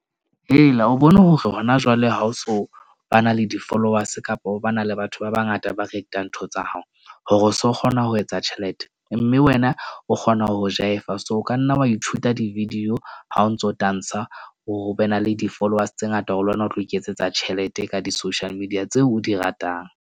Hela o bone hore ho na jwale ha o so ba na le di-followers kapo ba na le batho ba bangata, ba reitang ntho tsa hao hore o so kgona ho etsa tjhelete. Mme wena o kgona ho jaiva so ka nna wa ithuta di-video. Ha o ntso o tantsha, o be na le di-followers tse ngata ho lona, o tlo iketsetsa tjhelete ka di-social media tseo o di ratang.